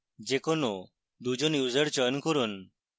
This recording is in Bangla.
যে কোনো 2 জন users চয়ন করুন